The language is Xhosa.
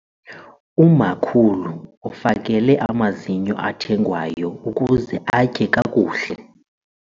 Umakhulu ufakele amazinyo athengwayo ukuze atye kakuhle.